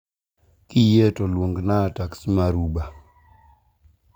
kiyie to luongna taksi mar uber